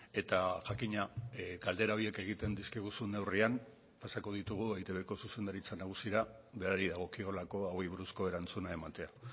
eta jakina galdera horiek egiten dizkiguzun neurrian pasako ditugu eitbko zuzendaritza nagusira berari dagokiolako hauei buruzko erantzuna ematea